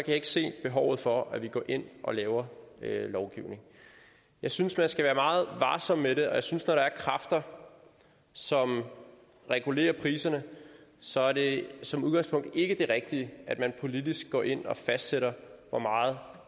jeg ikke se behovet for at vi går ind og laver lovgivning jeg synes man skal være meget varsom med det og jeg synes der er kræfter som regulerer priserne så er det som udgangspunkt ikke det rigtige at man politisk går ind fastsætter